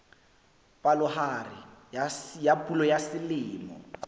palohare ya pula ya selemo